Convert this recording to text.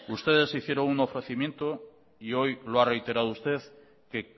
ustedes hicieron un ofrecimiento y hoy lo ha reiterado usted que